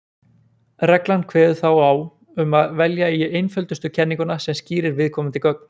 Reglan kveður þá á um að velja eigi einföldustu kenninguna sem skýrir viðkomandi gögn.